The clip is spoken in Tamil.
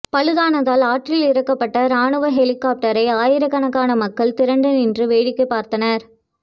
பழுதானதால் ஆற்றில் இறக்கப்பட்ட ராணுவ ஹெலிகாப்டரை ஆயிரக்கணக்கான மக்கள் திரண்டு நின்று வேடிக்கை பார்த்தனர்